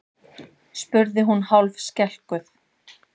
spurði hún hálfskelkuð.